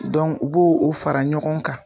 u b'o o fara ɲɔgɔn kan